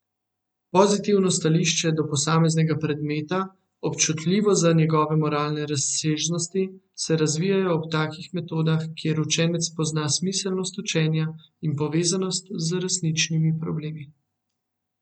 Pozitivno stališče do posameznega predmeta, občutljivost za njegove moralne razsežnosti, se razvijejo ob takih metodah, kjer učenec spozna smiselnost učenja in povezanost z resničnimi problemi.